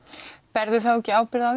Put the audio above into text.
berðu þá ekki ábyrgð á